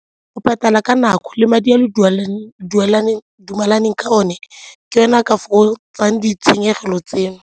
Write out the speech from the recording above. Go patala ka nako le madi a le dumalaneng ka one ke yone a ka fokotsang ditshenyegelo tseno.